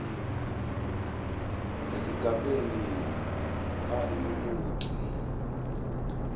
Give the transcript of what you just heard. esigabeni a imibuto